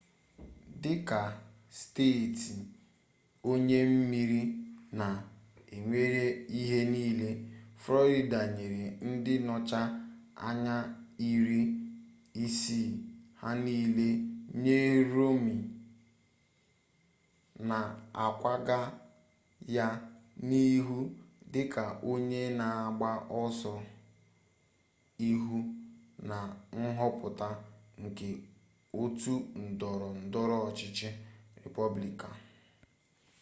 dịka steeti onye meriri-na-ewere ihe niile florida nyere ndị nnọchi anya iri ise ha niile nye romney na-akwaga ya n'ihu dị ka onye na-agba oso ihu na nhọpụta nke otu ndọrọ ndọrọ ọchịchị republican